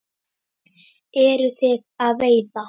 Eruð þið að veiða?